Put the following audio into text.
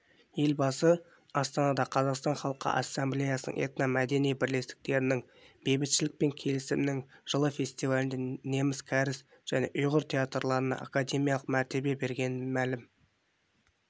елбасы астанада қазақстан іалқы ассамблеясы этномәдени бірлестіктерінің бейбітшілік пен келісімнің жылы фестивалінде неміс кәріс және ұйғыр театрларына академиялық мәртебе бергенін мәлім